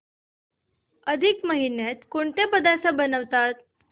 अधिक महिन्यात कोणते पदार्थ बनवतात